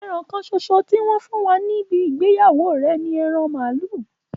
Ẹran kánsòsò tó wọn fún wa níbí ìgbèyawó rẹ ní èran malu.